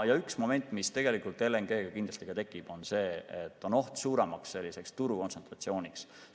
Üks moment, mis tegelikult LNG-ga kindlasti tekib, on see, et on oht suuremaks turukontsentratsiooniks.